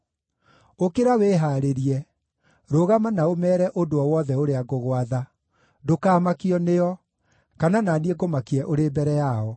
“Ũkĩra wĩhaarĩrie! Rũgama na ũmeere ũndũ o wothe ũrĩa ngũgwatha. Ndũkamakio nĩo, kana na niĩ ngũmakie ũrĩ mbere yao.